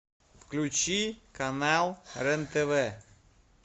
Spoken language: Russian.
включи канал рен тв